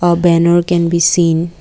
A banner can be seen.